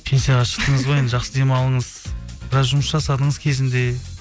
пенсияға шықтыңыз ғой енді жақсы демалыңыз біраз жұмыс жасадыңыз кезінде